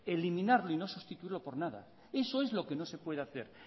eliminarlo y no sustituirlo por nada eso es lo que no se puede hacer